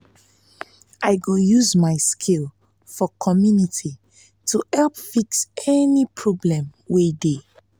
i go use my skills um for community to help fix any fix any problem wey dey.